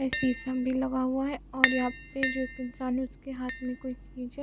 ए सीशम भी लगा हुआ है और यहाँ पे जो एक इंसान है उसके हाथ में कोई चीज है।